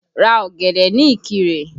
Ra ọ̀gẹ̀dẹ̀ ní Ikire!